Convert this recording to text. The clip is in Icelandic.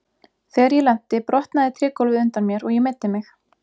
Þegar ég lenti brotnaði trégólfið undan mér og ég meiddi mig.